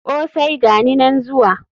Kosai!gani nan zuwa.